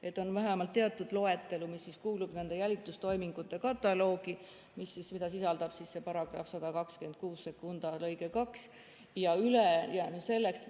Et on vähemalt teatud loetelu, mis kuulub nende jälitustoimingute kataloogi, mida sisaldab see § 1262 lõige 2.